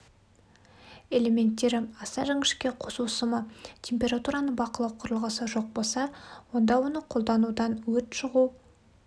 элементтері аса жіңішке қосу сымы температураны бақылау құрылғысы жоқ болса онда оны қолданудан өрт шығу